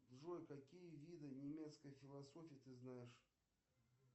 джой какие виды немецкой философии ты знаешь